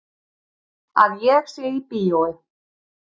Að ég sé í bíói.